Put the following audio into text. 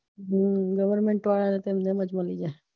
હમ goverment વાળાને તો નિયમ જ ના લાગે